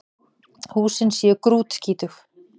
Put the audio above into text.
Húsin séu grútskítug